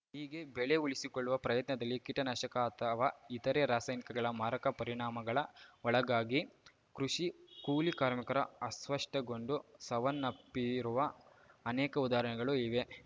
ಹೀಗೆ ಬೆಳೆ ಉಳಿಸಿಕೊಳ್ಳುವ ಪ್ರಯತ್ನದಲ್ಲಿ ಕೀಟನಾಶಕ ಅಥವಾ ಇತರೆ ರಾಸಾಯನಿಕಗಳ ಮಾರಕ ಪರಿಣಾಮಗಳ ಒಳಗಾಗಿ ಕೃಷಿ ಕೂಲಿ ಕಾರ್ಮಿಕರು ಅಸ್ವಸ್ಟಗೊಂಡು ಸವನ್ನಪ್ಪಿರುವ ಅನೇಕ ಉದಾಹರಣೆಗಳು ಇವೆ